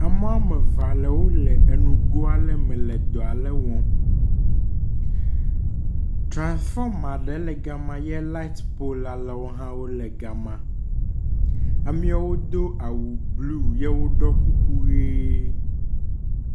Ame woame eve alewo le nugo ale me le dɔ aɖe wɔm. Trasfɔma aɖe le gama ye lait pol alewo hã wole gama. ameewo do awu blu eye woɖɔ kuku ʋe.